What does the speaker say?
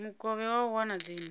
mukovhe wa u wana dzinnu